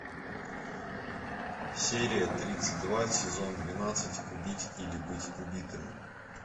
серия тридцать два сезон двенадцать убить или быть убитым